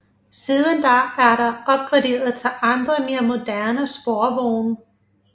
Siden da er der opgraderet til andre mere moderne sporvogne